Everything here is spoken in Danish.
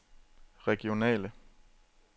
regionale